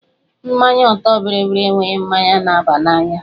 Mmanya ọtọ bịrịbịrị enweghị mmanya na-aba n'anya